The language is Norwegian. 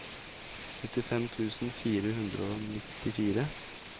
syttifem tusen fire hundre og nittifire